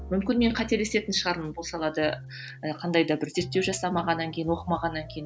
мүмкін мен қателесетін шығармын бұл салада ы қандай да бір зерттеу жасамағаннан кейін оқымағаннан кейін